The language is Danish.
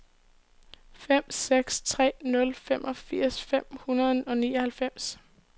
fem seks tre nul femogfirs fem hundrede og nioghalvfems